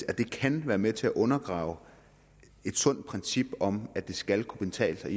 at det kan være med til at undergrave et sundt princip om at det skal kunne betale sig